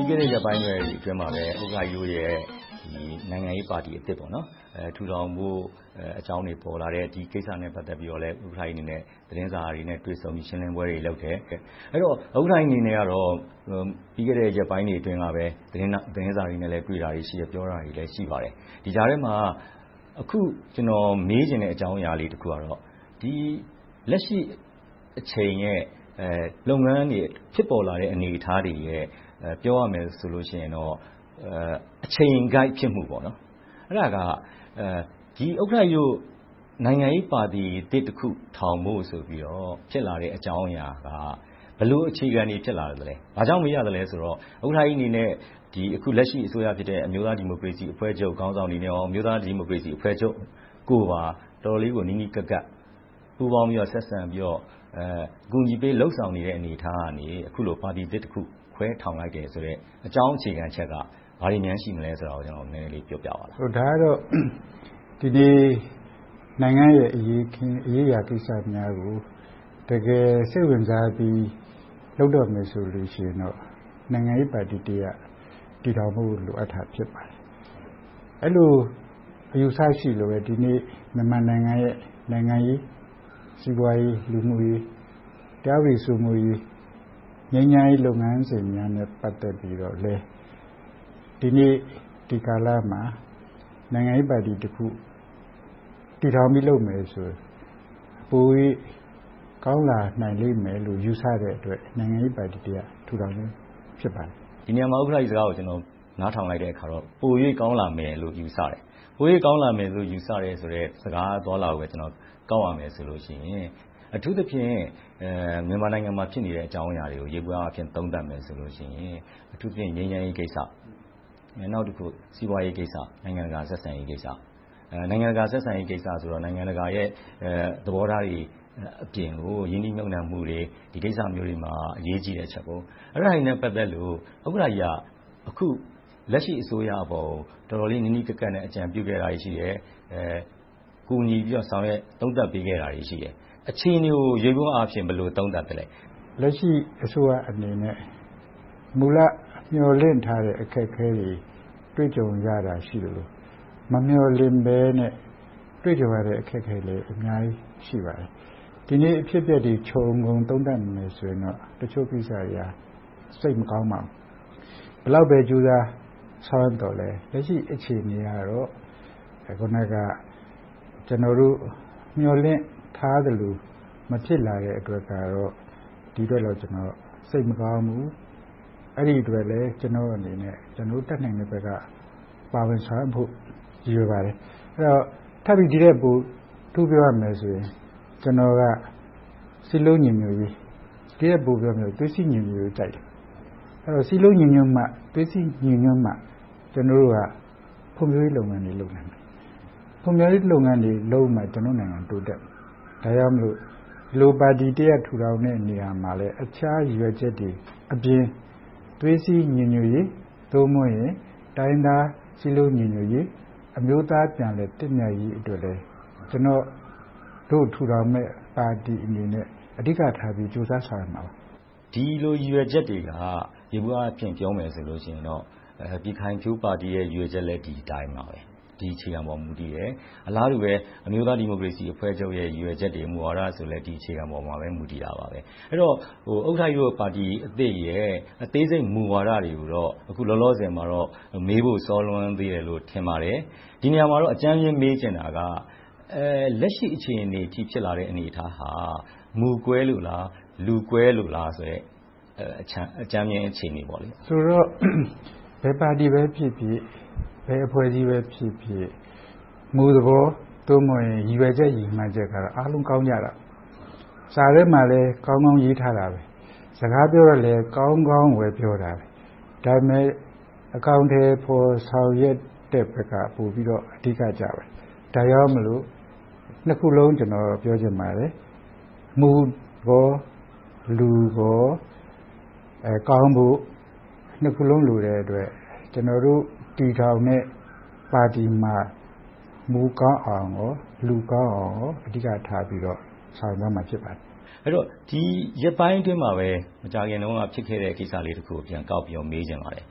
ီးခဲ့တဲ့ ရက်ပိုင်းအတွင်းမှာ ဥက္ကဋ္ဌကြီးတို့ရဲ့ နိုင်ငံရေးပါတီသစ် ထူထောင်ဖို့အကြောင်းတွေ ပေါ်လာတယ်။ ဒီကိစ္စနဲ့ ပတ်သက်ပြီးတော့ သတင်းစာတွေနဲ့ တွေ့ဆုံပြီး ရှင်းလင်းပွဲတွေလုပ်တယ်။ အဲဒီတော့ ဥက္ကဋ္ဌကြီးအနေနဲ့ ပြီးခဲ့တဲ့ ရက်ပိုင်းတွေအတွင်းမှာ သတင်းစာတွေနဲ့ တွေ့ဆုံတာတွေ၊ ပြောတာတွေ ရှိခဲ့ပါတယ်။ ဒီကြားထဲမှာ အခု ကျနော်မေးချင်တဲ့ အကြောင်းအရာလေးတခုကတော့ လက်ရှိအချိန်ရဲ့ လုပ်ငန်းတွေ ဖြစ်ပေါ်လာတဲ့ အနေအထားတွေရဲ့ ပြောရမယ်ဆိုရင်တော့ အချိန်ကိုက်ဖြစ်မှု - အဲဒါက ဥက္ကဋ္ဌကြီးတို့ နိုင်ငံရေးပါတီသစ်တခုထောင်ဖို့ဆိုပြီး ဖြစ်လာတဲ့အကြောင်းအရာက ဘယ်လိုအခြေခံတွေကြောင့် ဖြစ်ပေါ်လာလဲ။ ဘာကြောင့်မေးရသလဲဆိုတော့ ဥက္ကဋ္ဌကြီးအနေနဲ့ အခုလက်ရှိ အစိုးရဖြစ်တဲ့ အမျိုးသားဒီမိုကရေစီအဖွဲ့ချုပ် ခေါင်းဆောင်တွေနဲ့ အမျိုးသားဒီမိုကရေစီအဖွဲ့ချုပ်ကို တော်တော်လေးကို နီးနီးကပ်ကပ် ပူးပေါင်းပြီးတော့၊ ဆက်ဆံပြီးတော့ အကူအညီပေး လုပ်ဆောင်ပေးနေခဲ့တဲ့ အနေအထားကနေ အခုလို ပါတီသစ်တခု ခွဲထောင်လိုက်တယ်ဆိုတဲ့ အကြောင်းအခြေခံအချက်က ဘာတွေများ ရှိသလဲဆိုတာကို နည်းနည်းလေးပြောပြပါ။ ဒါကတော့ ဒီနေ့ နိုင်ငံရဲ့ အရေးအရာကိစ္စများကို တကယ်စိတ်ဝင်စားပြီး လုပ်တော့မယ်ဆိုလို့ရှိရင်တော့ နိုင်ငံရေးပါတီတရပ် ထူထောင်ဖို့ လိုအပ်တာ ဖြစ်ပါတယ်။ အဲဒီလို အယူအဆရှိလို့ပဲ ဒီနေ့ မြန်မာနိုင်ငံရဲ့ နိုင်ငံရေး၊ စီးပွားရေး၊ လူမှုရေး၊ တရားဥပဒေစိုးမိုးရေး၊ ငြိမ်းချမ်းရေးလုပ်ငန်းစဉ်များနဲ့ ပတ်သက်ပြီးတော့လည်း ဒီနေ့ ဒီကာလမှာ နိုင်ငံရေးပါတီတခု တည်ထောင်ပြီးလုပ်မယ်ဆိုရင် ပို၍ကောင်းလာနိုင်လိမ့်မယ်လို့ ယူဆတဲ့အတွက် နိုင်ငံရေးပါတီတရပ် ထူထောင်ခြင်း ဖြစ်ပါတယ်။ ဒီနေရာမှာ ဥက္ကဋ္ဌကြီးစကားကို နားထောင်လိုက်တဲ့အခါကြတော့ ပို၍ကောင်းလာမယ်လို့ ယူဆတယ်။ ပို၍ကောင်းလာမယ်လို့ ယူဆတဲ့စကား အသွားအလာကို ကောက်ရမယ်ဆိုရင် အထူးသဖြင့် မြန်မာနိုင်ငံမှာ ဖြစ်နေတဲ့ အကြောင်းအရာတွေကို ယေဘုယျအားဖြင့် သုံးသပ်မယ်ဆိုရင် အထူးသဖြင့် ငြိမ်းချမ်းရေးကိစ္စ။ နောက်တခု စီးပွားရေးကိစ္စ။ နိုင်ငံတကာဆက်ဆံရေးကိစ္စ - နိုင်ငံတကာရဲ့ သဘောထားတွေအပြင်ကို ရင်းနှီးမြှုပ်နံှမှုမျိုးတွေ၊ ဒီကိစ္စတွေမှာ အရေးကြီးတယ်။ အဲဒါတွေနဲ့ ပတ်သက်လို့ ဥက္ကဋ္ဌကြီးက အခုလက်ရှိ အစိုးရအပေါ် တော်တော်လေး နီးနီးကပ်ကပ်နဲ့ အကြံပြုခဲ့တာတွေ ရှိခဲ့တယ်။ ကူညီပြီးတော့ ဆောင်ရွက်သုံးသပ်ပေးခဲ့တာတွေ ရှိတယ်။ အခြေအနေကို ယေဘုယျအားဖြင့် ဘယ်လိုသုံးသပ်လဲ။ လက်ရှိအစိုးရအနေနဲ့ မူလမျှော်လင့်ထားတဲ့ အခက်အခဲတွေ တွေ့ကြုံရတာ ရှိသလို၊ မမျှော်လင့်ဘဲနဲ့ တွေ့ကြုံရတာတွေလည်း အများကြီးရှိပါတယ်။ ဒီနေ့ အဖြစ်အပျက်တွေကို ခြုံငုံသုံးသပ်မယ်ဆိုရင်တော့ တချို့ကိစ္စတွေက သိပ်မကောင်းပါဘူး။ ဘယ်လောက်ပဲ ကြိုးစားဆောင်ရွက်သော်လဲ လက်ရှိ အခြေအနေကတော့ အခုနက ကျနော်တို့ မျှော်လင့်ထားသလို မဖြစ်လာတဲ့အတွက်တော့ စိတ်မကောင်းဘူး။ အဲဒီအတွက်လဲ ကျနော့်အနေနဲ့ တတ်နိုင်တဲ့ဘက်က ပါဝင်ဆောင်ရွက်ဖို့ ရည်ရွယ်ပါတယ်။ အဲဒီတော့ ထပ်ပြီးဒီထက်ပို ပြောရမယ်ဆိုရင်တော့ ကျနော်က စည်းလုံးညီညွှတ်ရေး၊ သွေးစည်းညီညွှတ်ရေးကို ကြိုက်တယ်။ စည်းလုံးညီညွှတ်မှ၊ သွေးစည်းညီညွှတ်မှ ဖွံ့ဖြိုးရေးလုပ်ငန်းတွေကို လုပ်နိုင်မယ်။ ဖွံ့ဖြိုးရေးလုပ်ငန်းတွေလုပ်မှ ကျနော်တို့နိုင်ငံ တိုးတက်မယ်။ ဒါကြောင့်မို့ ဒီလိုပါတီတရပ် ထူထောင်ရမှာလဲ တခြားရည်ရွယ်ချက်တွေအပြင် သွေးစည်းညီညွှတ်ရေး၊ သို့မဟုတ် တိုင်းရင်းသားစည်းလုံးညီညွှတ်ရေး၊ အမျိုးသားပြန်လည်သင့်မြတ်ရေးအတွက်လည်း ကျနော်တို့ ထူထောင်မယ့် ပါတီအနေနဲ့ အဓိကထား ကြိုးစားဆောင်ရွက်မှာပါ။ ဒီလိုရည်ရွယ်ချက်တွေက ယေဘုယျအားဖြင့် ပြောမယ်ဆိုရင်တော့ ပြည်ခိုင်ဖြိုးပါတီရဲ့ ရည်ရွယ်ချက်လည်း ဒီအတိုင်းပါပဲ။ ဒီအခြေခံပေါ် မူတည်တယ်။ အလားတူပဲ အမျိုးသားဒီမိုကရေစီအဖွဲ့ချုပ်ရဲ့ မူဝါဒဆိုလည်း ဒီအခြေခံပေါ် မူတည်တာပဲ။ အဲဒီတော့ ဥက္ကဋ္ဌကြီးတို့ပါတီအသစ်ရဲ့ အသေးစိတ်မူဝါဒတွေကိုတော့ အခုလောလောဆယ်မှတော့ မေးဖို့စောနေသေးတယ်လို့ ထင်ပါတယ်။ ဒီနေရာမှာ အကြမ်းမျဉ်း မေးချင်တာက လက်ရှိ အခြေအနေအထိ ဖြစ်လာတဲ့ အနေအထားဟာ မူကွဲလို့လား။ လူကွဲလို့လား ဆိုတဲ့ အကြမ်းမျဉ်းအခြေအနေ ဖြစ်ပါတယ်။ ဆိုတော့ ဘယ်ပါတီပဲဖြစ်ဖြစ်၊ ဘယ်အဖွဲ့အစည်းပဲဖြစ်ဖြစ် မူသဘော ရည်ရွယ်ချက်၊ ရည်မှန်းချက်ကတော့ အားလုံးကောင်းပါတယ်။ စာထဲမှာလည်း ကောင်းကောင်းရေးထားပါတယ်။ စကားပြောတော့လည်း ကောင်းကောင်းရွေးပြောကြတယ်။ ဒါပေမဲ့ အကောင်အထည်ဖော် ဆောင်ရွက်တဲ့ဘက်က အဓိကကျပါတယ်။ ဒါကြောင့်မို့ နှစ်ခုစလုံး ကျနော်ပြောချင်ပါတယ် - မူကော၊ လူကော ကောင်းဖို့ နှစ်ခုစလုံး လိုတဲ့အတွက် ကျနော်တို့ တည်ထောင်တဲ့ပါတီမှာ မူကောင်းအောင်ဖို့နဲ့ လူကောင်းဖို့လည်း အဓိကထား ဆောင်ရွက်သွားမှာ ဖြစ်ပါတယ်။ အဲဒီတော့ ဒီရက်ပိုင်းအတွင်းမှာပဲ မကြာခင်တုန်းက ဖြစ်ခဲ့တဲ့ ကိစ္စလေးတခုကို ပြန်ကောက်ပြီးတော့ မေးချင်ပါတယ်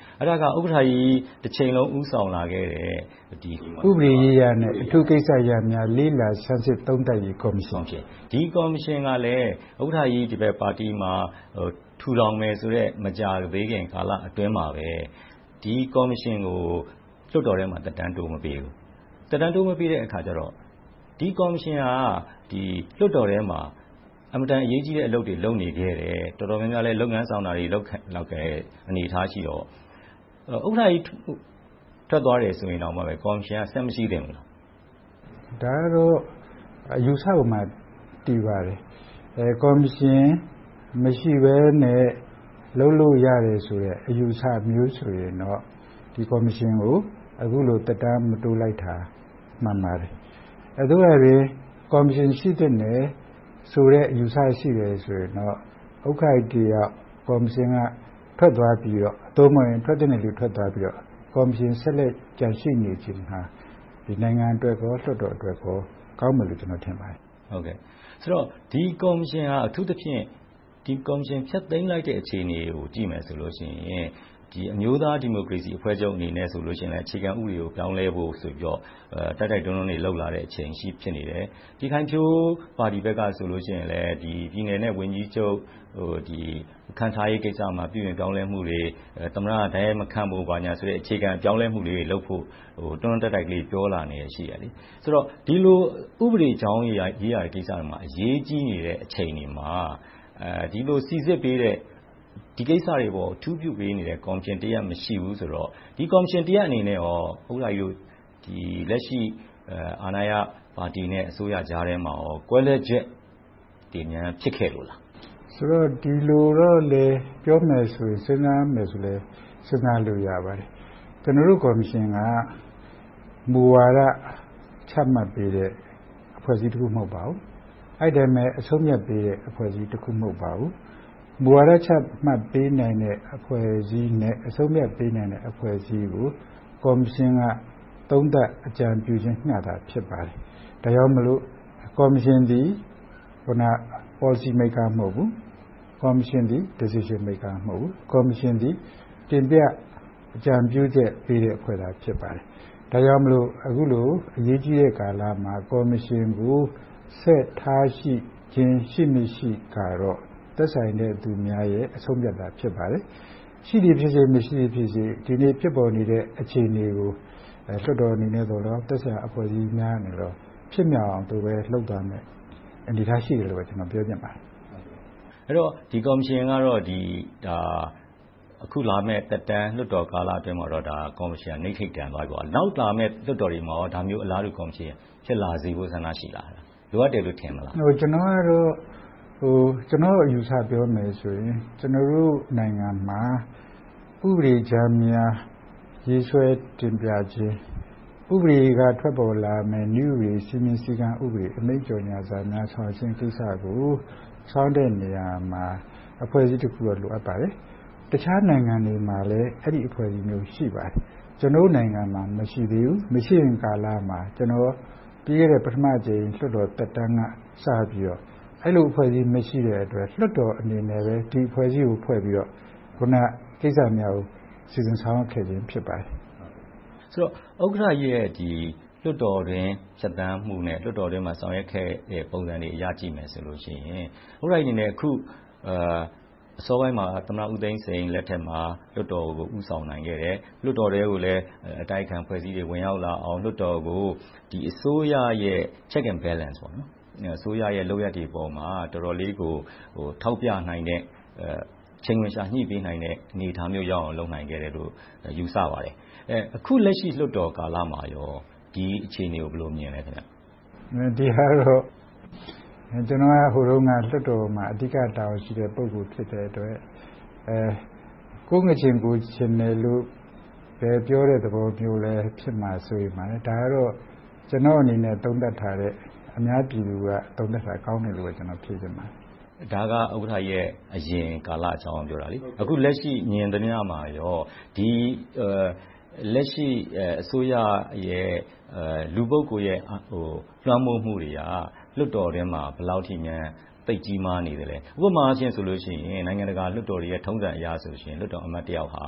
။ အဲဒါက ဥက္ကဋ္ဌကြီး တချိန်လုံး ဦးဆောင်လာခဲ့တဲ့ ဥပဒေရေးရာနဲ့ အထူးကိစ္စရပ်များ လေ့လာစမ်းစစ်သုံးသပ်ရေး ကော်မရှင်အဖြစ် - ဒီကော်မရှင်ကလဲ ဥက္ကဋ္ဌကြီး ဒီဘက်ပါတီမှာ ထူထောင်မယ်ဆိုတဲ့ မကြာသေးခင်ကာလအတွင်းမှာ ဒီကော်မရှင်ကို လွှတ်တော်ထဲမှာ သက်တမ်းတိုးမပေးဘူး။ သက်တမ်းမတိုးပေးတဲ့အခါကြတော့ ဒီကော်မရှင်က လွှတ်တော်ထဲမှာ အင်မတန်အရေးကြီးတဲ့ အလုပ်တွေ လုပ်နေခဲ့တယ်။ တော်တော်များများလည်း လုပ်ငန်းဆောင်တာတွေ လုပ်ခဲ့တဲ့ အနေအထားတွေ ရှိတော့ ဥက္ကဋ္ဌကြီး ထွက်သွားတယ်ဆိုရင်တောင် ကော်မရှင်က ဆက်မရှိသင့်ဘူးလား။ ဒါကတော့ အယူအဆပေါ်မှာ မူတည်ပါတယ်။ ကော်မရှင်မရှိဘဲနဲ့ လုပ်လို့ရတယ်ဆိုတဲ့ အယူအဆမျိုးဆိုရင်တော့ ဒီကော်မရှင်ကို အခုလို သက်တမ်း မတိုးလိုက်တာ မှန်ပါတယ်။ သို့ရာတွင် ကော်မရှင် ရှိသင့်တယ်ဆိုတဲ့ အယူအဆရှိတယ်ဆိုရင်တော့ ဥက္ကဋ္ဌကြီးတယောက် ကော်မရှင်က ထွက်သွားပြီးတော့ ထွက်သင့်တဲ့လူ ထွက်သွားပြီးနောက် ကော်မရှင် ဆက်လက်ကျန်ရှိနေခြင်းက နိုင်ငံအတွက်နဲ့ လွှတ်တော်အတွက်ကော ကောင်းမယ်လို့ ကျနော် ထင်ပါတယ်။ ဆိုတော့ ဒီကော်မရှင်က အထူးသဖြင့် ကော်မရှင်ကို ဖျက်သိမ်းလိုက်တဲ့ အခြေအနေကို ကြည့်မယ်ဆိုရင် အမျိုးသားဒီမိုကရေစီအဖွဲ့ချုပ်ဆိုရင်လဲ အခြေခံဥပဒေကို ပြောင်းလဲဖို့ဆိုပြီး တိုက်တိုက်တွန်းတွန်း လုပ်လာတဲ့အချိန် ဖြစ်နေတယ်။ ပြည်ခိုင်ဖြိုးပါတီဘက်ကလည်း ပြည်နယ်နဲ့ ဝန်ကြီးချုပ် ခန့်ထားရေးမှာ ပြုပြင်ပြောင်းလဲမှုတွေ သမ္မတက တိုက်ရိုက်မခန့်ဖို့ဆိုတဲ့ အခြေခံပြောင်းလဲမှုလေးတွေလုပ်ဖို့ တွန်းတွန်းတိုက်တိုက် ပြောလာတာတွေရှိတယ်။ ဒီလို ဥပဒေရေးရာ အရေးကြီးနေတဲ့အချိန်မှာ ဒီကိစ္စတွေကို စီစစ်ပေး၊ အထူးပြုပေးနေတဲ့ ကော်မရှင်တရပ် မရှိဘူးဆိုတော့ ဒီကော်မရှင်တရပ်အနေနဲ့ ဥက္ကဋ္ဌကြီးတို့ လက်ရှိအာဏာရပါတီနဲ့ အစိုးရကြားထဲမှာ ကွဲလွဲချက်တွေ ဖြစ်ခဲ့လို့လား။ ဆိုတော့ ဒီလိုတော့လဲ ပြောမယ်ဆိုရင် စဉ်းစားလို့ရပါတယ်။ ကျနော်တို့ကော်မရှင်က မူဝါဒ ချမှတ်ပေးတဲ့ အဖွဲ့အစည်းတရပ် မဟုတ်ပါဘူး။ အဲဒီအတိုင်းပဲ အဆုံးအဖြတ်ပေးတဲ့ အဖွဲ့အစည်းတရပ် မဟုတ်ပါဘူး။ မူဝါဒ ချမှတ်ပေးနိုင်တဲ့ အဖွဲ့အစည်းနဲ့ အဆုံးအဖြတ်ပေးနိုင်တဲ့ အဖွဲ့အစည်းတွေကို ကော်မရှင်က သုံးသပ်အကြံပြုခြင်းသာ ဖြစ်ပါတယ်။ ဒါကြောင့်မို့ ကော်မရှင်သည် အခုန Policy Maker မဟုတ်ဘူး။ Decision Maker မဟုတ်ဘူး။ ကော်မရှင်သည် တင်ပြအကြံပြုချက်ပေးတဲ့ အဖွဲ့သာ ဖြစ်ပါတယ်။ ဒါကြောင့် အခုလို အရေးကြီးတဲ့ကာလမှာ ကော်မရှင်ကို ဆက်ထားရှိခြင်း ရှိလို့ရှိချင်က သက်ဆိုင်သူတွေရဲ့ အဆုံးအဖြတ်သာ ဖြစ်ပါတယ်။ ရှိသည်ဖြစ်စေ၊ မရှိသည်ဖြစ်စေ ဒီနေ့ဖြစ်ပေါ်နေတဲ့ အခြေအနေကို လွှတ်တော်အနေနဲ့သော်လည်းကောင်း၊ သက်ဆိုင်ရာ အဖွဲ့အစည်းများသည်လည်းကောင်း ဖြစ်မြောက်အောင် လုပ်သွားမယ့် အနေအထားရှိတယ်လို့ပဲ ကျနော် ပြောချင်ပါတယ်။ အဲဒီတော့ ဒီကော်မရှင်ကတော့ အခုလာမယ့် လွှတ်တော်သက်တမ်းကာလအတွင်းမှာတော့ နတ္ထိတန်သွားပြီပေါ့။ နောက် လာမယ့် လွှတ်တော်တွေမှာ ဒီလိုမျိုးအလာတူ ကော်မရှင် ဖြစ်လာစေဖို့ ဆန္ဒရှိလား။ လိုအပ်တယ်လို့ ထင်သလား။ ကျနော့်အယူအဆကို ပြောမယ်ဆိုရင် ကျနော်တို့နိုင်ငံမှာ ဥပဒေကြမ်းမှာ ရေးဆွဲတင်ပြခြင်း၊ ဥပဒေက ထွက်ပေါ်လာမယ့် နည်းဥပဒေ စည်းမျဉ်းစည်းကမ်း၊ ဥပဒေ အမိန့်ကြော်ငြာစာများ ဆောင်ရွက်ခြင်းကိစ္စကို ဆောင်ရွက်တဲ့နေရာမှာ အဖွဲ့အစည်းတခုတော့ လိုအပ်ပါတယ်။ တခြားနိုင်ငံတွေမှာလည်း အဲဒီအဖွဲ့အစည်းမျိုး ရှိပါတယ်။ ကျနော်တို့နိုင်ငံမှာ မရှိသေးဘူး။ မရှိသေးတဲ့ကာလမှာ ပြီးခဲ့တဲ့ ပထမအကြိမ် လွှတ်တော်သက်တမ်းက စပြီးတော့ အဲဒီလိုအဖွဲ့အစည်း မရှိတဲ့အတွက် လွှတ်တော်အနေနဲ့ ဒီအဖွဲ့အစည်းကို ဖွဲ့ပြီးတော့ အခုနကိစ္စများကို စီစဉ်ဆောင်ရွက်ခဲ့ခြင်း ဖြစ်ပါတယ်။ ဆိုတော့ ဥက္ကဋ္ဌကြီးရဲ့ လွှတ်တော်အတွင်း ဖြတ်သန်းမှုနဲ့ လွှတ်တော်အတွင်းမှာ ဆောင်ရွက်ခဲ့တဲ့ ပုံစံတွေအရ ကြည့်မယ်ဆိုရင် ဥက္ကဋ္ဌကြီးအနေနဲ့ အခုအစောပိုင်းမှာ သမ္မတဦးသိန်းစိန်လက်ထက်မှာ လွှတ်တော်ကို ဦးဆောင်နိုင်ခဲ့တယ်။ လွှတ်တော်ထဲကိုလည်း အတိုက်အခံအဖွဲ့အစည်းတွေ ဝင်ရောက်လာအောင် လွှတ်တော်ကို အစိုးရရဲ့ Check and Balance အစိုးရရဲ့ လုပ်ရပ်တွေပေါ်မှာ တော်တော်လေးကို ထောက်ပြနိုင်တဲ့ ချိန်းခွင်လျှာညှိပေးနိုင်တဲ့ အနေအထားမျိုး လုပ်နိုင်ခဲ့တယ်လို့ ယူဆပါတယ်။ အခုလက်ရှိ လွှတ်တော်ကာလမှာကော ဒီအခြေအနေကို ဘယ်လိုမြင်ပါလဲ။ ဒီဟာကတော့ ကျနော်က ဟိုတုန်းက လွှတ်တော်မှာ အဓိကတာဝန်ရှိတဲ့ ပုဂ္ဂိုလ်ဖြစ်တဲ့အတွက် ကိုယ်ငါးချဉ်ကိုယ်ချဉ်တယ်လို့ ပြောတဲ့သဘောမျိုးလည်း ဖြစ်မှာ စိုးရိမ်ပါတယ်။ ဒါကတော့ ကျနော့်အနေနဲ့ သုံးသပ်တာထက် အများပြည်သူက သုံးသပ်တာ ကောင်းတယ်လို့ပဲ ဖြေချင်ပါတယ်။ ဒါက ဥက္ကဋ္ဌကြီးရဲ့ အရင်ကာလအကြောင်းကို ပြောတာလေ။ အခုလက်ရှိ မြင်သမျှမှာကော လက်ရှိအစိုးရရဲ့ လူပုဂ္ဂိုလ်ရဲ့ လွှမ်းမိုးမှုတွေက လွှတ်တော်ထဲမှာ ဘယ်လောက်ထိများ သိပ်ကြီးမားနေသလဲ။ ဥပမာအားဖြင့် နိုင်ငံတကာမှာ လွှတ်တော်တွေရဲ့ ထုံးစံအရဆိုရင် လွှတ်တော်အမတ်တယောက်ဟာ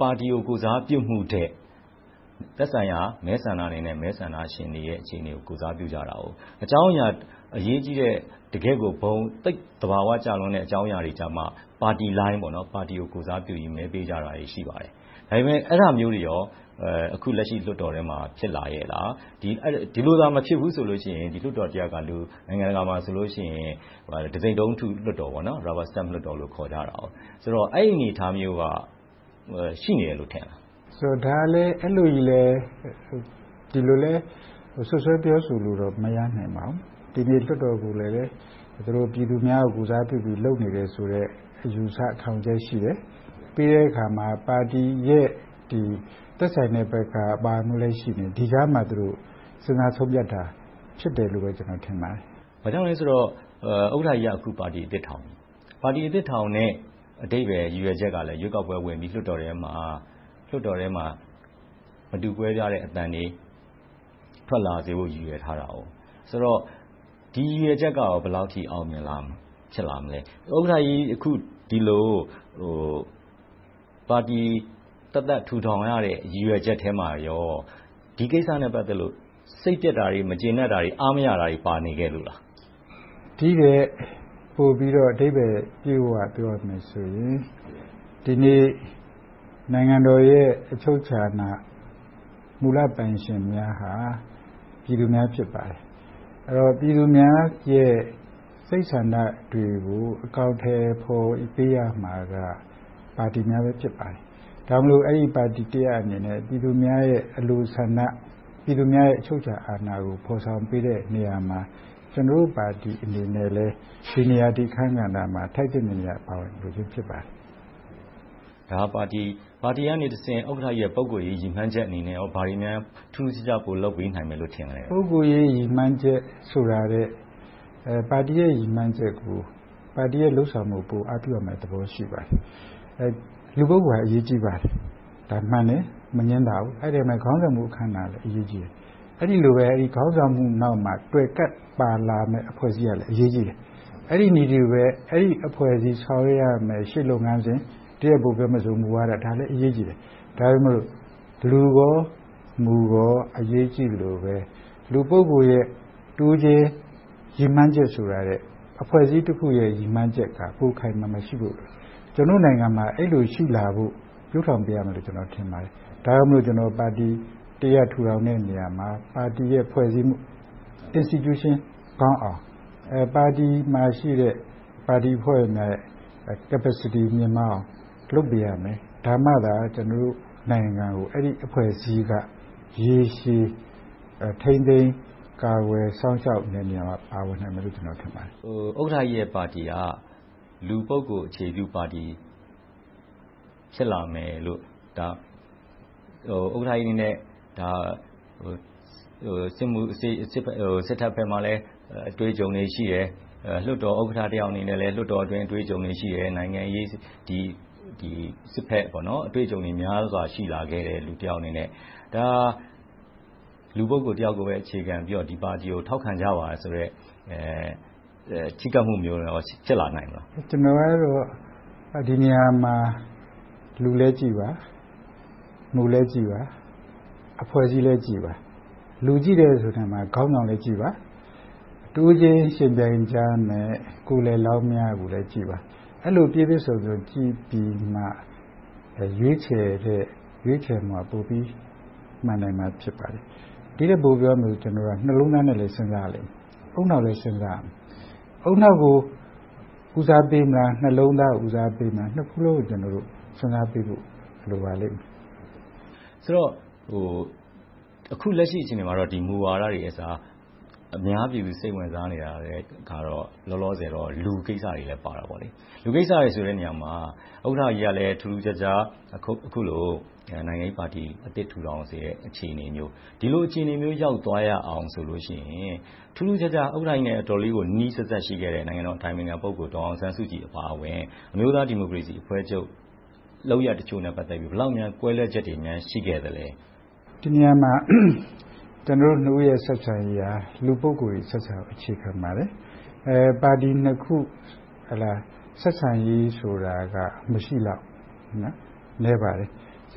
ပါတီကို ကိုယ်စားပြုမှုထက် သက်ဆိုင်ရာ မဲဆန္ဒနယ်မြေနဲ့ မဲဆန္ဒရှင်တွေရဲ့ အခြေအနေကို ကိုယ်စားပြုကြတယ်။ အကြောင်းအရာ အရေးကြီးတဲ့ တကယ့်ကို ဘုံ သိပ်သဘာဝကျတဲ့ အကြောင်းအရာကျမှ ပါတီလိုင်း ပါတီကိုကိုယ်စားပြုပြီး မဲပေးကြတာတွေ ရှိပါတယ်။ ဒါပေမဲ့ အဲဒါမျိုးတွေ အခုလက်ရှိ လွှတ်တော်ထဲမှာ ဖြစ်လာရဲ့လား။ ဒီလိုသာ မဖြစ်ဘူးဆိုရင် လွှတ်တော်တရပ်က နိုင်ငံတကာမှာဆိုရင် တံဆိပ်တုံးထု လွှတ်တော် လွှတ်တော်လို့ ခေါ်ကြတယ်။ ဆိုတော့ အဲဒီအနေအထားမျိုးတို့ ရှိနေတယ်လို့ ထင်လား။ အဲဒီလိုကြီးလဲ ဒီလိုလဲ စွပ်စွဲပြောဆိုလို့တော့ မရနိုင်ပါဘူး။ ဒီနေ့ လွှတ်တော်ကိုလည်း ပြည်သူများကို ကိုယ်စားပြုပြီး လုပ်နေတယ်ဆိုတဲ့ အယူအဆ ရှိတယ်။ ပြီးတဲ့အခါမှာ ပါတီရဲ့ သက်ဆိုင်တဲ့ဘက်က ပါမှုလည်း ရှိနေတယ်။ ဒီကြားမှာ စဉ်းစားဆုံးဖြတ်တာ ဖြစ်တယ်လို့ပဲကျနော် ထင်ပါတယ်။ ဘာကြောင့်လဲဆိုတော့ ဥက္ကဋ္ဌကြီးက အခု ပါတီသစ်ထောင်တယ်။ အဲဒီအဓိပ္ပါယ် ရည်ရွယ်ချက်ကလဲ ရွေးကောက်ပွဲဝင်ပြီး၊ လွှတ်တော်ထဲမှာ မတူကွဲပြားတဲ့ အသံတွေ၊ ထွက်လာစေဖို့ ရည်ရွယ်ထားတာ။ ဆိုတော့ ဒီရည်ရွယ်ချက်က ဘယ်လောက်ထိ အောင်မြင်လာမလဲ။ ဥက္ကဋ္ဌကြီး အခု ဒီလို ပါတီသက်သက် ထူထောင်ရတဲ့ ရည်ရွယ်ချက်ထဲမှာ ဒီကိစ္စနဲ့ ပတ်သက်လို့ စိတ်ပျက်တာတွေ၊ မကျေနပ်တာတွေ၊ အားမရတာတွေ ပါနေလို့လား။ ဒီထက်ပိုပြီးတော့ အဓိပ္ပါယ်ပြည့်ပြည့်ဝဝ ပြောရမယ်ဆိုရင် ဒီနေ့ နိုင်ငံတော်ရဲ့ အချုပ်အခြာအာဏာ မူလပိုင်ရှင်များဟာ ပြည်သူများ ဖြစ်ပါတယ်။ ပြည်သူများတွေရဲ့ စိတ်ဆန္ဒတွေကို အကောင်အထည်ဖော်ပေးရမှာက ပါတီများပဲ ဖြစ်ပါတယ်။ ဒါကြောင့်မို့ အဲဒီပါတီတရပ်အနေနဲ့ ပြည်သူများရဲ့ အလိုဆန္ဒ၊ ပြည်သူများရဲ့ အချုပ်အခြာအာဏာကို ဖော်ဆောင်ပေးတဲ့ နေရာမှာ ကျနော်တို့ပါတီအနေနဲ့လဲ ဒီနေရာ ဒီအခန်းကဏ္ဍမှာ ထိုက်သင့်တဲ့နေရာက ပါဝင်လိုခြင်း ဖြစ်ပါတယ်။ ဒါက ပါတီကနေတဆင့် ဥက္ကဋ္ဌကြီး ပုဂ္ဂိုလ်ရေးရည်မှန်းချက်အနေနဲ့ ဘာတွေများ ထူးထူးခြားခြား ပိုလုပ်ပေးနိုင်မယ်လို့ ထင်လဲ။ ပုဂ္ဂိုလ်ရေး ရည်မှန်းချက်ဆိုတာထက် ပါတီရဲ့ ရည်မှန်းချက်ကို၊ ပါတီရဲ့ လုပ်ဆောင်ချက်ကို ပိုအားပြုရမယ့်သဘော ရှိပါတယ်။ လူပုဂ္ဂိုလ်က အရေးကြီးပါတယ်။ ဒါက မှန်တယ်။ မငြင်းပါဘူး။ အဲဒီမှာ ခေါင်းဆောင်မှု အခန်းကဏ္ဍကလည်း အရေးကြီးတယ်။ အဲဒီလိုပဲ ခေါင်းဆောင်မှုနောက်မှာ တွယ်ကပ်လာမယ့် အဖွဲ့အစည်းတွေကလည်း အရေးကြီးတယ်။ အဲဒီလိုပဲ အဖွဲ့အစည်း ဆောင်ရွက်ရမယ့် ရှေ့လုပ်ငန်းစဉ်၊ တနည်းအားဖြင့်ပြောရင် ဒါပေမဲ့ လူကော၊ မူကော အရေးကြီးသလိုပဲ၊ လူပုဂ္ဂိုလ်ရဲ့ တဦးချင်း ရည်မှန်းချက်ဆိုတာထက် အဖွဲ့အစည်းတခုရဲ့ ရည်မှန်းချက်က ပိုခိုင်ခိုင်မာမာ ရှိဖို့လိုတယ်။ ကျနော်တို့နိုင်ငံမှာ အဲဒီလိုရှိလာဖို့ ပြုစုပျိုးထောင်ပေးရမယ်လို့ ကျနော် ထင်ပါတယ်။ ဒါကြောင့်မို့ ပါတီတရပ် ထူထောင်တဲ့နေရာမှာ ပါတီရဲ့ ဖွဲ့စည်းမှု Institution ကောင်းအောင် ပါတီမှာရှိတဲ့ ပါဝင်အဖွဲ့ဝင်များရဲ့ Capacity မြှင့်မားအောင် လုပ်ပေးရမယ်။ ဒါမှသာ ကျနော်တို့နိုင်ငံကို အဲဒီအဖွဲ့အစည်းက ရေရှည် ထိန်းသိမ်းကာကွယ် စောင့်ရှောက်မယ့်နေရာက ပါဝင်နိုင်မယ်လို့ ထင်ပါတယ်။ ဥက္ကဋ္ဌကြီးရဲ့ပါတီက လူပုဂ္ဂိုလ် အခြေပြုပါတီ ဖြစ်လာမယ်လို့ - ဥက္ကဋ္ဌကြီးအနေနဲ့ စစ်တပ်ဘက်မှာလည်း အတွေ့အကြုံတွေ ရှိတယ်။ လွှတ်တော်ဥက္ကဋ္ဌအနေနဲ့လည်း လွှတ်တော်အတွင်း အတွေ့အကြုံတွေ ရှိတယ်။ နိုင်ငံရေး၊ စစ်ဘက် အတွေ့အကြုံတွေ များစွာရှိလာတဲ့ လူတယောက်အနေနဲ့ ဒါက လူပုဂ္ဂိုလ် တယောက်ကိုပဲ အခြေခံပြီးတော့ ထောက်ခံကြပါဆိုတဲ့ ချဉ်းကပ်မှုမျိုးကို ဖြစ်လာနိုင်မလား။ ကျနော်ကတော့ ဒီနေရာမှာ လူလည်းကြည့်ပါ။ မူလည်းကြည့်ပါ။ အဖွဲ့အစည်းလည်းကြည့်ပါ။ လူကြည့်တယ်ဆိုတဲ့နေရာမှာ ခေါင်းဆောင်လည်းကြည့်ပါ။ အတွေးချင်းယှဉ်ပြိုင်ကြမယ့် ကိုယ်စားလှယ်လောင်းများကိုလည်း ကြည့်ပါ။ အဲဒီလို ပြည့်ပြည့်စုံစုံ ကြည့်ပြီးမှ ရွေးချယ်တဲ့ ရွေးချယ်နိုင်မှ မှန်နိုင်မှာ ဖြစ်ပါတယ်။ ဒီထက်ပိုပြောရမယ်ဆိုရင် ကျနော်တို့က နှလုံးသားနဲ့လည်း စဉ်းစားရလိမ့်မယ်။ ဦးနှောက်လည်း စဉ်းစားရလိမ့်မယ်။ ဦးနှောက်ကို ဦးစားပေးမလား၊ နှလုံးသားကို ဦးစားပေးမလား။ နှစ်ခုစလုံးကို စဉ်းစားပေးဖို့ လိုပါလိမ့်မယ်။ ဆိုတော့ အခုလက်ရှိ အခြေအနေမှာတော့ မူဝါဒတွေအစား အများပြည်သူ စိတ်ဝင်စားနေတာကတော့ လောလောဆယ် လူကိစ္စတွေတော့ ပါတာပေါ့။ လူကိစ္စတွေ ဆိုတဲ့နေရာမှာ ဥက္ကဋ္ဌကြီးက ထူးထူးခြားခြား အခုလို နိုင်ငံရေးပါတီအသစ် ထူထောင်တဲ့ အခြေအနေမျိုး။ ဒီလိုအခြေအနေမျိုး ရောက်သွားရအောင်ဆိုလို့ရှိရင် ထူးထူးခြားခြား ဥက္ကဋ္ဌကြီးနဲ့ အတော်လေးနီးနီးစပ်စပ် ရှိခဲ့တဲ့ နိုင်ငံတော်အတိုင်ပင်ခံပုဂ္ဂိုလ် ဒေါ်အောင်ဆန်းစုကြည်အပါအဝင် အမျိုးသားဒီမိုကရေစီအဖွဲ့ချုပ် လုပ်ရပ်တချို့နဲ့ ပတ်သက်ပြီး ဘယ်လောက်များ ကွဲလွဲချက်တွေ ရှိခဲ့သလဲ။ ဒီနေရာမှာ ကျနော်တို့နှစ်ဦးရဲ့ ဆက်ဆံရေးက လူပုဂ္ဂိုလ်ဆက်စပ် အခြေခံပါတယ်။ ပါတီနှစ်ခု ဆက်ဆံရေးဆိုတာက မရှိသလောက် နည်းပါတယ်။ ကျ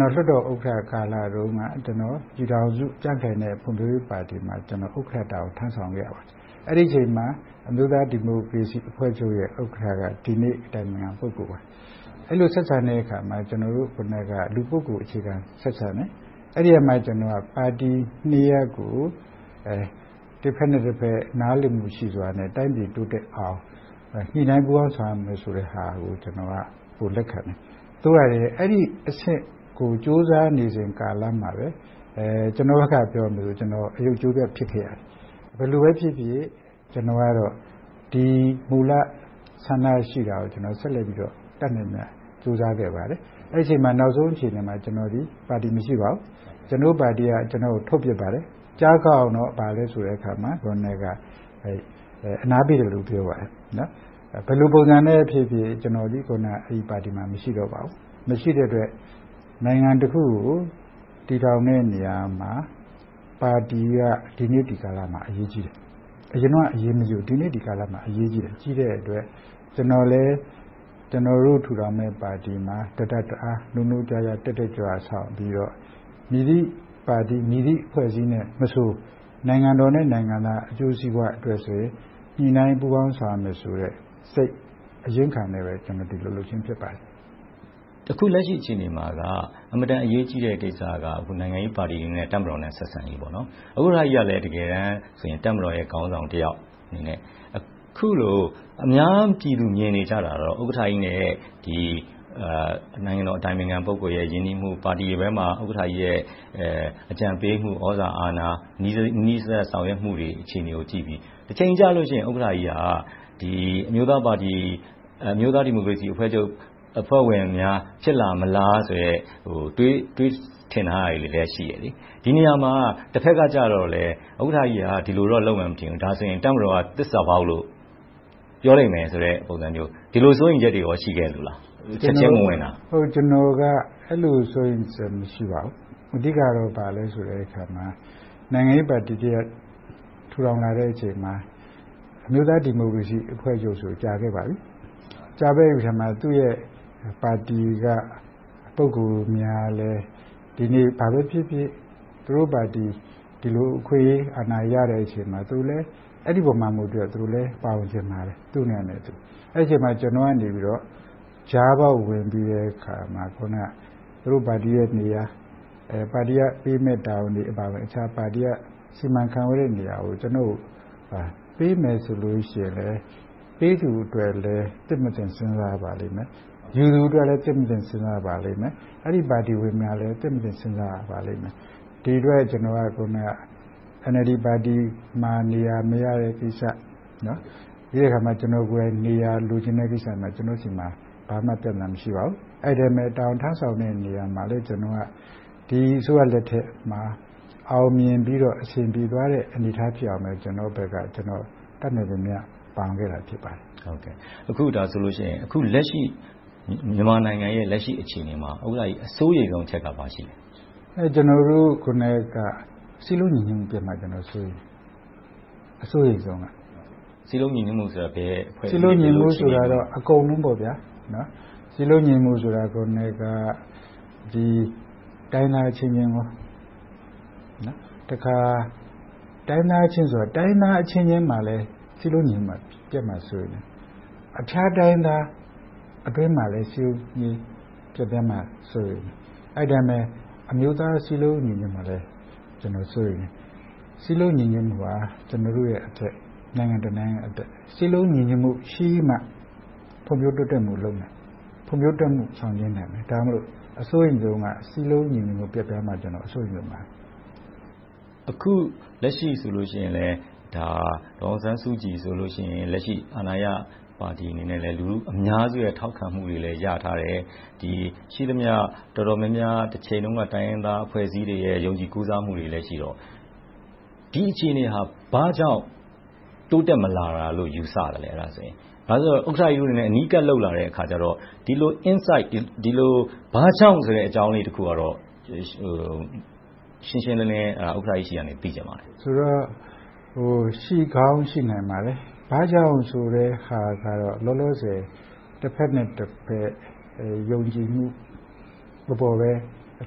နော် လွှတ်တော်ဥက္ကဋ္ဌကာလတုန်းက ပြည်ထောင်စုကြံ့ခိုင်နဲ့ဖွံ့ဖြိုးရေးပါတီမှာ ဥက္ကဋ္ဌတာဝန် ထမ်းဆောင်ခဲ့ရပါတယ်။ အဲဒီအချိန်မှာ အမျိုးသားဒီမိုကရေစီအဖွဲ့ချုပ်ရဲ့ ဥက္ကဋ္ဌက ဒီနေ့ အတိုင်ပင်ခံပုဂ္ဂိုလ်ပါ။ အဲဒီလို ဆက်ဆံတဲ့အခါမှာ ကျနော်တို့က လူပုဂ္ဂိုလ်အခြေခံ ဆက်ဆံတယ်။ အဲဒီကနေ ကျနော်က ပါတီနှစ်ရပ်ကို တဘက်နဲ့တဘက် နားလည်မှုရှိစွာနဲ့ တိုင်းပြည်တိုးတက်အောင် ညှိနှိုင်းပူးပေါင်းဆောင်ရွက်မယ်ဆိုတဲ့ဟာကို ပိုလက်ခံတယ်။ သို့ရာတွင် အဲဒီအဆင့်ကို ကြိုးစားဆောင်ရွက်နေစဉ်ကာလမှာပဲ ကျနော်ဘက်က ပြောရမယ်ဆိုရင် ကျနော် အရုပ်ကြိုးပြတ် ဖြစ်ခဲ့ရတယ်။ ဘယ်လိုပဲဖြစ်ဖြစ် ကျနော်ကတော့ ဒီမူလဆန္ဒရှိတာကို ဆက်လက်ပြီးတော့ တတ်နိုင်သမျှ ကြိုးစားခဲ့ပါတယ်။ အဲဒီအချိန်မှာ နောက်ဆုံးအချိန်မှာ ကျနော်သည် ပါတီမရှိပါဘူး။ ကျနော်တို့ပါတီက ကျနော့်ကို ထုတ်ပြစ်ပါတယ်။ ကြားအောင်တော့ အနားပေးတယ်လို့ ပြောပါတယ်။ ဘယ်လိုပုံစံနဲ့ဖြစ်ဖြစ် အဲဒီပါတီမှာ မရှိတော့ပါဘူး။ မရှိတဲ့အတွက် နိုင်ငံတခုကို တည်ထောင်တဲ့နေရာမှာ ပါတီက ဒီနေ့ဒီကာလမှာ အရေးကြီးတယ်။ အရင်တုန်းက အရေးမကြီးဘူး။ ဒီနေ့ဒီကာလမှာ အရေးကြီးတဲ့အတွက် ကျနော်လည်း ကျနော်တို့ထူထောင်မယ့် ပါတီမှာ တတတ်တအား၊ နိုးနိုးကြားကြား၊ တက်တက်ကြွကြွ ဦးဆောင်ပြီးတော့ မည်သည့်ပါတီ၊ မည့်သည်အဖွဲ့အစည်းနဲ့မဆို နိုင်ငံတော်နဲ့ နိုင်ငံသား အကျိုးစီးပွားအတွက် ညှိနှိုင်းပူးပေါင်းဆောင်ရွက်မယ်ဆိုတဲ့ စိတ်အရင်းအခံနဲ့ပဲ ဒီလိုလုပ်ခြင်း ဖြစ်ပါတယ်။ အခုလက်ရှိ အခြေအနေမှာက အင်မတန် အရေးကြီးတဲ့ကိစ္စက နိုင်ငံရေးပါတီတွေအနေနဲ့ တပ်မတော်နဲ့ ဆက်ဆံရေး။ ဥက္ကဋ္ဌကြီးကလည်း တကယ်တမ်းဆိုရင် တပ်မတော်ရဲ့ ခေါင်းဆောင်တယောက်အနေနဲ့ အခုလို အများပြည်သူမြင်နေကြတာတော့ ဥက္ကဋ္ဌကြီးနဲ့ နိုင်ငံတော်အတိုင်ပင်ခံပုဂ္ဂိုလ်ရဲ့ ရင်းနှီးမှု။ ပါတီထဲမှာ ဥက္ကဋ္ဌကြီးရဲ့ အကြံပေးမှု၊ သြဇာအာဏာ နီးနီးစပ်စပ် ဆောင်ရွက်မှုတွေ၊ အခြေအနေတွေကိုကြည့်ပြီး တချိန်ကျလို့ရှိရင် ဥက္ကဋ္ဌကြီးက အမျိုးသားဒီမိုကရေစီအဖွဲ့ချုပ် အဖွဲ့ဝင်များ ဖြစ်လာမလားဆိုတဲ့ တွေးထင်ထားတာတွေလည်း ရှိတယ်။ ဒီနေရာမှာ တဘက်ကကြတော့လဲ ဥက္ကဋ္ဌကြီးက ဒီလိုတော့ လုပ်မယ်မထင်ဘူး။ ဒါဆိုရင် တပ်မတော်က သစ္စာဖောက်လို့ ပြောမယ်ဆိုတဲ့ ပုံစံမျိုး။ ဒီလို စိုးရိမ်ချက်တွေကော ရှိခဲ့လို့လား။ ကျနော်က အဲဒီလို စိုးရိမ်ချက်တွေ မရှိခဲ့ပါဘူး။ အဓိက ဘာလဲဆိုတဲ့အခါမှာ နိုင်ငံရေးပါတီတရပ် ထူထောင်လာတဲ့အချိန်မှာ အမျိုးသားဒီမိုကရေစီအဖွဲ့ချုပ်ဆိုရင် ကြာခဲ့ပါပြီ။ ကြာခဲ့ပြီဆိုတဲ့နေရာမှာ သူ့ရဲ့ပါတီက ပုဂ္ဂိုလ်များလည်း ဒီနေ့ ဘာပဲဖြစ်ဖြစ် သူတို့ပါတီ ဒီလိုအခွင့်အရေး၊ အာဏာရတဲ့အချိန်မှာ သူတို့လည်း အဲဒီအပေါ်မူတည်ပြီး သူ့နေရာနဲ့သူ ပါဝင်ချင်ပါတယ်။ အဲဒီအချိန်မှာ ကျနော်ကနေ ကြားပေါက်ဝင်ပြီးတဲ့အခါမှာ အခုန သူတို့ပါတီရဲ့နေရာ၊ ပါတီက ပေးအပ်တဲ့ တာဝန်တွေအပါအဝင်။ ပါတီရဲ့ စီမံခန့်ခွဲနေတာတွေကို ကျနော်ကို ပေးမယ်ဆိုလို့ရှိရင်လည်း ပေးသူအတွက်လဲ သင့်မသင့် စဉ်းစားရပါလိမ့်မယ်။ ယူသူအတွက်လဲ သင့်မသင့် စဉ်းစားရပါလိမ့်မယ်။ အဲဒီပါတီဝင်များလည်း သင့်မသင့် စဉ်းစားရပါလိမ့်မယ်။ ဒီအတွက် ကျနော်က အခုန NLD ပါတီမှာ နေရာမရတဲ့ကိစ္စ။ ပြီးတဲ့အခါမှာ ကျနော်ကိုယ်တိုင် နေရာ လိုချင်တဲ့ကိစ္စ ကျနော့်မှာ ဘာမှပြဿနာ မရှိပါဘူး။ အဲဒီအတိုင်းပဲ တာဝန်ထမ်းဆောင်တဲ့နေရာမှာ ဒီအစိုးရလက်ထက်မှာ အောင်မြင်ပြီးတော့ အဆင်ပြေသွားတဲ့ အနေအထားဖြစ်အောင် ကျနော်ဖက်က တတ်နိုင်သမျှ ပါဝင်ခဲ့တာ ဖြစ်ပါတယ်။ အခုလက်ရှိ မြန်မာနိုင်ငံရဲ့ အခြေအနေမှာ ဥက္ကဋ္ဌကြီး စိုးရိမ်တဲ့အချက်က ဘာရှိလဲ။ ကျနော်တို့က စည်းလုံးညီညွှတ်မှု ပျက်မှာကို စိုးရိမ်တယ်။ အစိုးရိမ်ဆုံး။ စည်းလုံးညီညွှတ်မှုဆိုတာ ဘာအချက်လဲ။ စည်းလုံးညီညွှတ်မှုဆိုတာ အကုန်လုံးပေါ့။ စည်းလုံးညီညွှတ်မှုဆိုတာ တိုင်းရင်းသားအချင်းချင်းမှာလဲ စည်းလုံးညီညွှတ်မှု ပျက်ဆဲမှာ စိုးရိမ်တယ်။ အခြားတိုင်းရင်းသားတွေအတွင်းမှာလဲ စည်းလုံးညီညွှတ်မှု ပျက်ပြားမှာ စိုးရိမ်တယ်။ အဲဒီအတိုင်းပဲ အမျိုးသားစည်းလုံး ညီညွှတ်မှု ပျက်ပြားမှာလဲ စိုးရိမ်တယ်။ စည်းလုံးညီညွှတ်မှုဟာ ကျနော်တို့ရဲ့အသက်။ နိုင်ငံတနိုင်ငံရဲ့ အသက်။ စည်းလုံးညီညွှတ်မှုရှိမှ ဖွံ့ဖြိုးတိုးတက်ရေးကို လုပ်နိုင်မယ်။ ဖွံ့ဖြိုးတိုးတက်မှု အောင်မြင်နိုင်မယ်။ ဒါကြောင့် အစိုးရိမ်ဆုံးက စည်းလုံးညီညွှတ်မှု ပျက်ပြားမှာကို အစိုးရိမ်ဆုံးပါ။ အခုလက်ရှိဆိုရင်လဲ ဒေါ်အောင်ဆန်းစုကြည်ဆိုလဲ လက်ရှိအာဏာရပါတီအနေနဲ့လဲ လူအများစုရဲ့ ထောက်ခံမှုကိုလဲ ရထားတယ်။ ရှိသမျှ တော်တော်များများ တချိန်တုန်းက တိုင်းရင်းသားအဖွဲ့အစည်းတွေ ယုံကြည်ကိုးစားမှုတွေလည်းရှိတော့ ဒီအခြေအနေဟာ ဘာကြောင့် တိုးတက်မလာတာလို့ ယူဆလဲ။ ဘာဖြစ်လို့လဲဆိုတော့ ဥက္ကဋ္ဌကြီးတို့အနေနဲ့ အနီးကပ်လုပ်လာတဲ့အခါကြတော့ ဒီလို inside ဘာကြောင့်ဆိုတဲ့ အကြောင်းလေးတခုကတော့ ရှင်းရှင်းလင်းလင်း ဥက္ကဋ္ဌကြီးဆီကနေ သိချင်ပါတယ်။ ရှိကောင်းရှိနိုင်ပါတယ်။ ဘာကြောင့်ဆိုတဲ့ဟာကတော့ လောလောဆယ် တဘက်နဲ့တဘက် ယုံကြည်မှုအပေါ်လဲ အ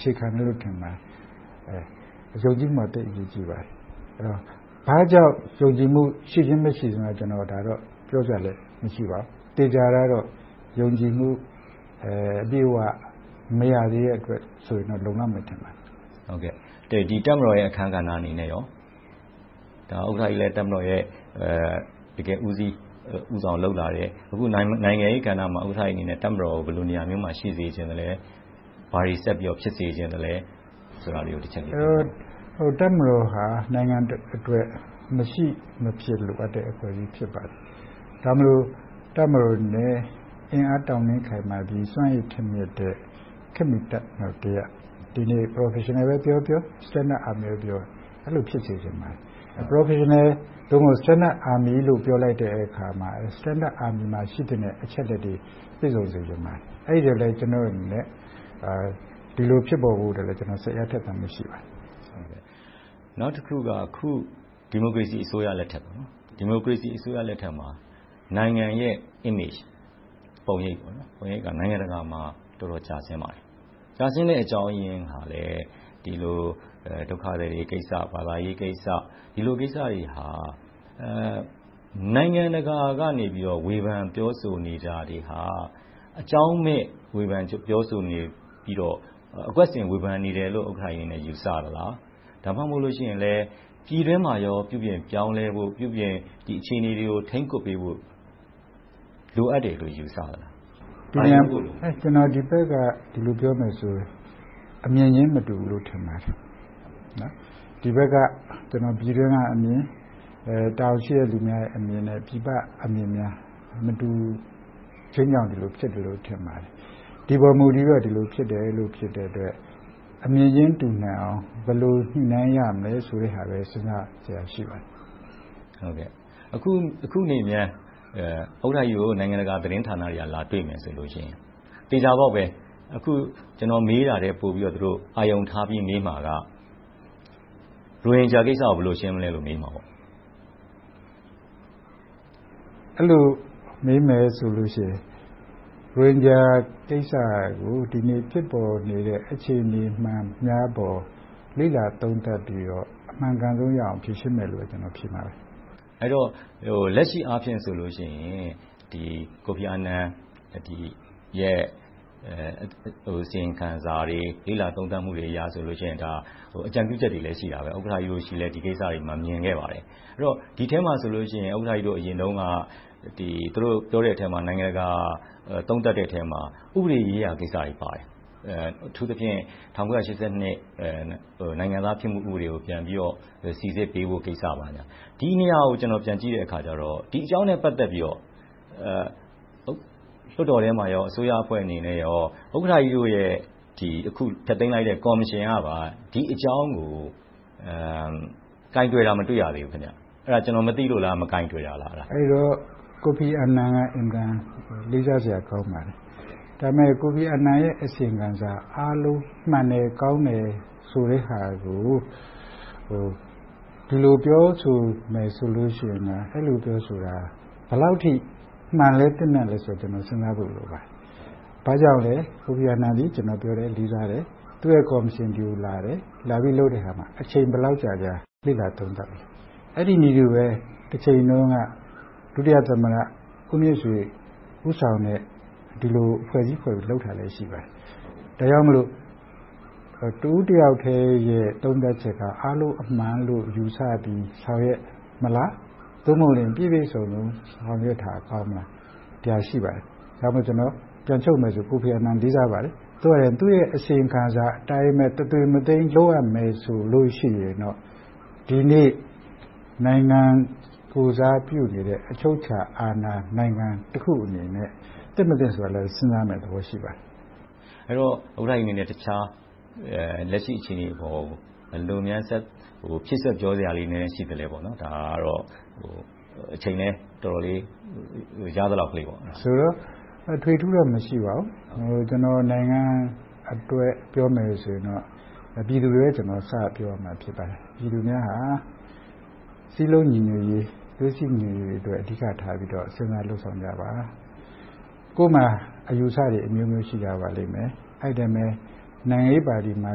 ခြေခံမယ်လို့ ထင်ပါတယ်။ ဘာကြောင့် ယုံကြည်မှု ရှိခြင်းမရှိခြင်းကိုတော့ ကျနော်အနေနဲ့ ပြောစရာလဲ မရှိပါဘူး။ သေချာတာကတော့ ယုံကြည်မှု အပြည့်အဝ မရသေးတဲ့အတွက် ဆိုရင်တော့ လုံလောက်မယ်ထင်ပါတယ်။ တပ်မတော်ရဲ့ အခန်းကဏ္ဍအနေနဲ့ကော ဥက္ကဋ္ဌကြီးလည်း တပ်မတော်ရဲ့ တကယ့်ဦးစီးဦးဆောင် လုပ်လာတယ်။ အခု နိုင်ငံရေးကဏ္ဍမှာ ဥက္ကဋ္ဌကြီးအနေနဲ့ တပ်မတော်ကို ဘယ်လိုနေရာမျိုးမှာ ရှိစေချင်လဲ။ ဘာတွေဆက်ပြီးတော့ ဖြစ်စေချင်လဲဆိုတာလေးကို တချက်ပြောပြပေးပါ။ တပ်မတော်ဟာ နိုင်ငံတနိုင်ငံအတွက် မရှိမဖြစ် လိုအပ်တဲ့ အဖွဲ့အစည်း ဖြစ်ပါတယ်။ ဒါကြောင့်မို့ တပ်မတော်လဲ အင်အားတောင့်တင်းခိုင်မာပြီး စွမ်းရည်ထက်မြက်တဲ့ ခေတ်မီတပ်မတော် - ဒီနေ့ Professional ပဲပြောပြော၊ Standard Army ဖြစ်စေချင်တယ်။ အဲဒီလို ဖြစ်စေချင်ပါတယ်။ Professional သို့မဟုတ် Standard Army ပြောလိုက်တဲ့အခါမှာ Standard Army မှာ ရှိသင့်တဲ့ အချက်အလက်တွေ ပြည့်စုံစေချင်ပါတယ်။ အဲဒီအတွက်လဲ ကျနော့်အနေနဲ့ ဒီလိုဖြစ်ပေါ်ဖို့အတွက်လဲ ကျနော် စိတ်အားထက်သန်မှုလည်း ရှိပါတယ်။ နောက်တခုက အခု ဒီမိုကရေစီအစိုးရလက်ထက်မှာ နိုင်ငံရဲ့ ပုံရိပ် က နိုင်ငံတကာမှာ တော်တော်ကျဆင်းနေပါတယ်။ ကျဆင်းတဲ့ အကြောင်းရင်းကလဲ ဒုက္ခသည်တွေကိစ္စ။ ဘာသာရေးကိစ္စ။ ဒီလိုကိစ္စတွေဟာ နိုင်ငံတကာကနေ ဝေဖန်ပြောဆိုနေတာတွေဟာ အကြောင်းမဲ့ ဝေဖန်ပြောဆိုနေပြီးတော့ အကွက်ဆင် ဝေဖန်နေတယ်လို့ ယူဆသလား။ ဒါမှမဟုတ် ပြည်တွင်းမှာရော ပြုပြင်ပြောင်းလဲဖို့၊ ဒီအခြေအနေတွေကို ထိန်းကွပ်ပေးဖို့ လိုအပ်တယ်လို့ ယူဆပါလား။ ကျနော် ဒီဘက်က ဒီလိုပြောမယ်ဆိုရင် အမြင်ချင်း မတူဘူးလို့ ထင်ပါတယ်။ ဒီဘက် ပြည်တွင်းကအမြင်၊ တာဝန်ရှိသူများအမြင်နဲ့ ပြည်ပကအမြင်များ မတူချင်းကြောင့် ဒီလိုဖြစ်တယ်လို့ ထင်ပါတယ်။ ဒီပေါ်မူတည်ပြီးတော့ ဒီလိုဖြစ်တဲ့အတွက် အမြင်ချင်း တူနိုင်အောင် ဘယ်လိုညှိနှိုင်းရမလဲဆိုတဲ့ဟာလဲ စဉ်းစားစရာ ရှိပါတယ်။ အခုနေများ ဥက္ကဋ္ဌကြီးကို နိုင်ငံတကာသတင်းဌာနတွေက လာတွေ့မယ်ဆိုလို့ရှိရင် သေချာပေါက်ပဲ ကျနော် မေးတာထက်ပိုပြီးတော့ အာရုံထားပြီး မေးမှာက ရိုဟင်ဂျာကိစ္စကို ဘယ်လိုရှင်းမလဲလို့ မေးမှာပေါ့။ အဲဒီလို မေးမယ်ဆိုလို့ရှိရင် ရိုဟင်ဂျာကိစ္စကို ဒီနေ့ဖြစ်ပေါ်နေတဲ့ အခြေအနေမှန်များပေါ် လေ့လာသုံးသပ်ပြီးတော့ အမှန်ကန်ဆုံးရအောင် ဖြေရှင်းမယ်လို့ ကျနော် ဖြေပါမယ်။ အဲဒီတော့ လက်ရှိအားဖြင့်ဆိုလို့ရှိရင် Kofi Anan ရဲ့ အစီရင်ခံစာတွေ၊ လေ့လာသုံးသပ်မှုတွေအရဆိုရင် အကြံပြုချက်တွေလည်း ရှိတယ် ဥက္ကဋ္ဌကြီးတို့လဲ ဒီကိစ္စကို မြင်ခဲ့ပါတယ်။ ဒီထဲမှာဆိုရင် ဥက္ကဋ္ဌကြီးတို့ အရင်တုန်းက သူတို့ပြောခဲ့တဲ့ နိုင်ငံတကာ သုံးသပ်တဲ့အထဲမှာ ဥပဒေရေးရာကိစ္စတွေပါတယ်။ အထူးသဖြင့် ၁၉၈၂ ခုနှစ် နိုင်ငံသားဖြစ်မှု ဥပဒေကို ပြန်ပြီးတော့ စီစစ်ပေးဖို့ ကိစ္စဘာညာ - ဒီနေရာကို ကျနော် ပြန်ကြည့်တဲ့အခါမှာ ဒီအကြောင်းနဲ့ ပတ်သက်ပြီးတော့ လွှတ်တော်ထဲမှာနဲ့ အစိုးရအဖွဲ့အနေနဲ့ ဥက္ကဋ္ဌကြီးတို့ အခုဖျက်သိမ်းလိုက်တဲ့ ကော်မရှင်ကပါ ဒီအကြောင်းကို ကိုင်တွယ်တာ မတွေ့ရသေးဘူး။ အဲဒါ ကျနော် မသိလို့လား။ မကိုင်တွယ်တာလား။ အဲဒီတော့ Kofi Anan က အင်မတန် လေးစားစရာကောင်းပါတယ်။ ဒါပေမဲ့ Kofi Anan ရဲ့ အစီရင်ခံစာအားလုံး မှန်တယ်၊ ကောင်းတယ်ဆိုတဲ့ဟာကို ဒီလိုပြောဆိုမယ်ဆိုလို့ရှိရင် အဲဒီလိုပြောဆိုတာ ဘယ်လောက်အထိ မှန်လဲ၊ သင့်မြတ်သလဲဆိုတာကို တော်တော်လေးစဉ်းစားဖို့ လိုပါတယ်။ ဘာကြောင့်လဲ ကိုဖီအာနန်သည် ကျနော်ပြောခဲ့တယ် လေးစားတယ်။ သူ့ရဲ့ကော်မရှင် ဒီကိုလာတယ် လာပြီးလုပ်တဲ့အခါမှာ အချိန် ဘယ်လောက်ကြာကြာ လေ့လာသုံးသပ်သလဲ။ အဲဒီနည်းတူပဲ တချိန်တုန်းက ဒုတိယသမ္မတ ဦးမြင့်ဆွေ ဦးဆောင်တဲ့ ဒီလိုအဖွဲ့အစည်းဖွဲ့ပြီးတော့ လုပ်ဆောင်တာလဲ ရှိပါတယ်။ ဒါကြောင့်မို့ တဦးတယောက်တည်းရဲ့ သုံးသပ်ချက်က အားလုံးအမှန်လို့ ယူဆပြီးဆောင်ရွက်မလား။ သို့မဟုတ် ပြည့်ပြည့်စုံစုံ ဆောင်ရွက်တာ ကောင်းမလား။ ဒီဟာရှိပါတယ်။ ဒါကြောင့်မို့ ကျနော် ပြန်ချုပ်မယ်ဆိုရင် ကိုဖီအာနန်ကို လေးစားပါတယ်။ ပြောရရင် သူ့အစီရင်ခံစာအတိုင်းပဲ တသွေးမတိမ် လုပ်ရမယ်ဆိုလို့ရှိရင်တော့ ဒီနေ့ နိုင်ငံကိုယ်စားပြုနေတဲ့ အချုပ်အခြာအာဏာနိုင်ငံတခုအနေနဲ့ သင့်မသင့်ဆိုတာလဲ စဉ်းစားစရာရမယ့်သဘော ရှိပါတယ်။ အဲဒီတော့ ဥက္ကဋ္ဌကြီးအနေနဲ့ တခြားလက်ရှိ အခြေအနေပေါ်ကို ဘယ်လိုများ ဖြည့်စွက်ပြောပြစရာလေး နည်းနည်းရှိသလဲ။ အချိန်လဲ တော်တော်လေး ရှိလာပြီဆိုတော့ ရသလောက်လေးပေါ့။ အထွေအထူးတော့ မရှိပါဘူး။ ကျနော် နိုင်ငံအတွက် ပြောမယ်ဆိုရင်တော့ ပြည်သူတွေကို စပြောရပါလိမ့်မယ်။ ပြည်သူများဟာ စည်းလုံးညီညွှတ်ရေး၊ သွေးစည်းညီညွှတ်ရေးအတွက် အဓိကထားပြီးတော့ စဉ်းစားလုပ်ဆောင်ကြပါ။ ကိုယ့်မှာ အယူအဆတွေအမျိုးမျိုး ရှိကြပါလိမ့်မယ်။ အဲဒီအတိုင်းပဲ နိုင်ငံရေးပါတီတွေမှာ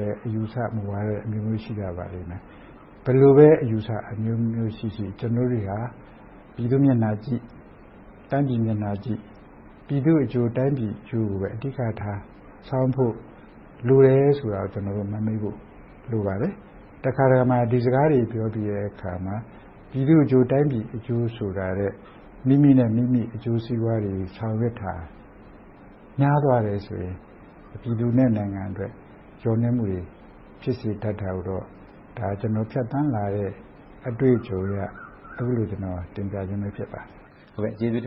လဲ အယူအဆ၊ မူဝါဒအမျိုးမျိုး ရှိကြပါလိမ့်မယ်။ ဘယ်လိုပဲ အယူအဆ၊ မူဝါဒတွေအမျိုးမျိုးရှိရှိ ကျနော်တို့တွေဟာ ပြည်သူ့မျက်နှာကြည့်၊ တိုင်းပြည်မျက်နှာကြည့်၊ ပြည်သူ့အကျိုး၊ တိုင်းပြည်အကျိုးအတွက် အဓိကထား ဆောင်ရွက်ဖို့ လိုတယ်ဆိုတာကို ကျနော်တို့ မမေ့ဖို့ လိုပါတယ်။ တခါတရံမှာ ဒီစကားတွေပြောပြီးတဲ့အခါမှာ ပြည်သူ့အကျိုး၊ တိုင်းပြည်အကျိုးဆိုတာထက် မိမိနဲ့ မိမိအကျိုးစီးပွားတွေအတွက် ဆောင်ရွက်တာများသွားတယ်ဆိုရင် ပြည်သူနဲ့ နိုင်ငံအတွက် လျော့နည်းမှုဖြစ်စေတာကိုတော့ ကျနော် ဖြတ်သန်းလာရတဲ့ အတွေ့အကြုံအရ အဲဒီလို တင်ပြခြင်းပဲ ဖြစ်ပါတယ်။ ကျေးဇူးတင်ပ